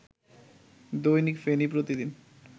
দৈনিক ফেনী প্রতিদিন